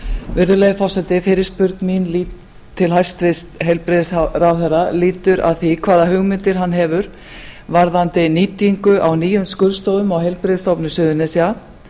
virðulegi forseti fyrirspurn mín til hæstvirts heilbrigðisráðherra lýtur að því hvaða hugmyndir hann hefur varðandi nýtingu á nýjum skurðstofum á heilbrigðisstofnun suðurnesja